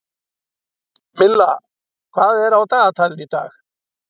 Milla, hvað er á dagatalinu í dag?